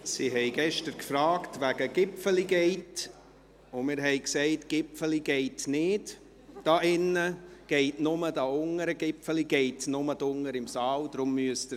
Sie fragten uns gestern wegen «Gipfeli Gate», und wir sagten: «‹Gipfeli geit nid› hier drinnen, das geht nur unten in der Halle.